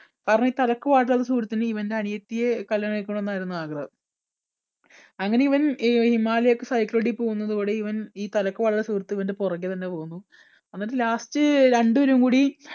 കാരണം ഈ തലയ്ക്ക് പാടില്ലാത്ത സുഹൃത്തിന് ഇവൻറെ അനിയത്തിയെ കല്യാണം കഴിക്കണം എന്നായിരുന്നു ആഗ്രഹം അങ്ങനെ ഇവൻ ഈ ഹിമാലയത്തിൽ cycle ചവിട്ടിപോകുന്നതോടെ ഇവൻ ഈ തലയ്ക്ക് പാടില്ലാത്ത സുഹൃത്ത് ഇവൻറെ പുറകെ തന്നെ പോകുന്നു എന്നിട്ട് last രണ്ടുപേരും കൂടി